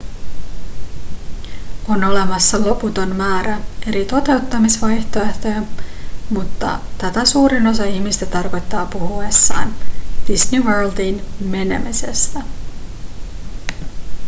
on olemassa loputon määrä eri toteuttamisvaihtoehtoja mutta tätä suurin osa ihmisistä tarkoittaa puhuessaan disney worldiin menemisestä